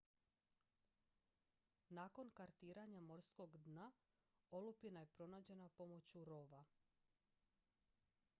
nakon kartiranja morskog dna olupina je pronađena pomoću rov-a